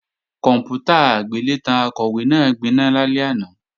Kòǹpútà agbélétan Akọ̀wé náà gbiná lálẹ́ àná